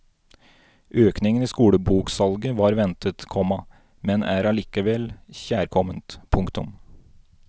Økningen i skoleboksalget var ventet, komma men er allikevel kjærkomment. punktum